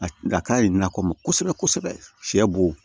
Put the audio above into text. A ka ɲi na kɔmɔ kosɛbɛ kosɛbɛ sɛ b'o